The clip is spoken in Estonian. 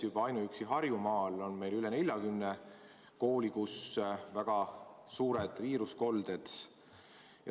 Juba ainuüksi Harjumaal on üle 40 kooli, kus on väga suured viirusekolded.